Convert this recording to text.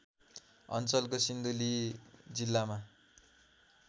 अञ्चलको सिन्धुली जिल्लामा